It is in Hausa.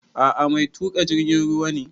A'a ni mai tuƙa jirgin ruwa ne